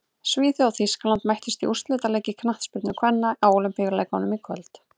Svíþjóð og Þýskaland mættust í úrslitaleik í knattspyrnu kvenna á Ólympíuleikunum í kvöld.